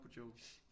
På Joe